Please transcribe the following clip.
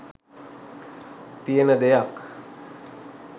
තියෙන දෙයක්.